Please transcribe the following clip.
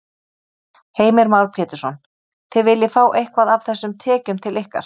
Heimir Már Pétursson: Þið viljið fá eitthvað af þessum tekjum til ykkar?